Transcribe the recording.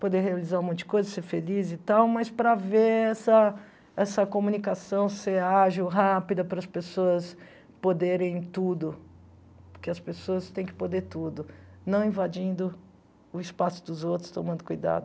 poder realizar um monte de coisa, ser feliz e tal, mas para ver essa essa comunicação ser ágil, rápida, para as pessoas poderem tudo, porque as pessoas têm que poder tudo, não invadindo o espaço dos outros, tomando cuidado.